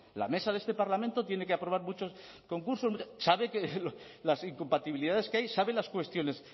la mesa de este parlamento tiene que aprobar muchos concursos sabe que las incompatibilidades que hay sabe las cuestiones